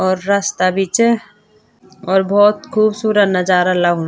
और रास्ता भी च और बहौत खुबसूरत नजारा लगणु।